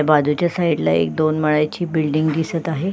बाजूच्या साइड ला एक दोन माळ्याची बिल्डिंग दिसत आहे.